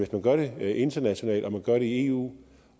at man gør det internationalt og man gør det i eu